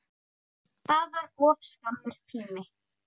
TÓLFTA STUND